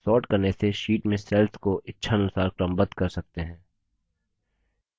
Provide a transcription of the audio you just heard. sorting करने से sheet में cells को इच्छा अनुसार क्रमबद्ध कर सकते हैं